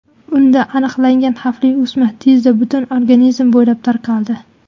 Unda aniqlangan xavfli o‘sma tezda butun organizm bo‘ylab tarqaldi.